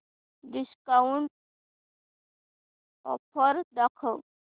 discount offer दाखव